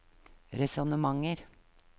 resonnementer